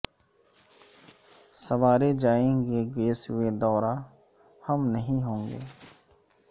سنوارے جائیں گے گیسوئے دوراں ہم نہیں ہوں گے